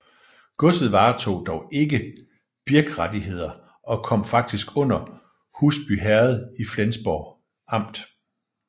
Godset varetog dog ikke birkrettigheder og kom faktisk under Husbyherred i Flensborg Amt